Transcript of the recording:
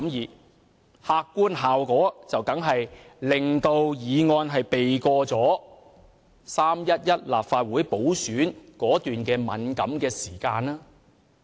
這樣做的客觀效果，當然是令《條例草案》避過了3月11日立法會補選的敏感時間。